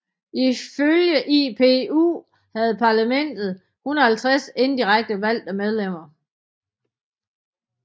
Ifølge IPU havde parlamentet 150 indirekte valgte medlemmer